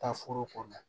Taa foro kɔnɔ